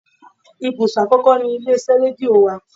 Ibùsọ̀ àkọ́kọ́ ni ilé iṣẹ́ rédíò wa.